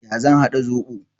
Ya zan haɗa zoɓo?